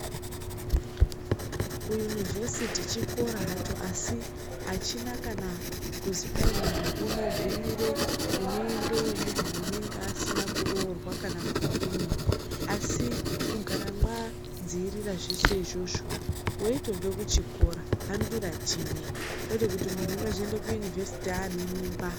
Kuyunivhesiti chikora hacho, asi achina kana kuzwi kwai muntu unogumire, uneendeyo muntu unenge asina kuroorwa kana kudini, asi kugara mwadziirira zveshe izvozo weitobve kuchikoro hambira chimwe. Kwete kuzoti muntu unozoende kuyunivhesiti aane mimba.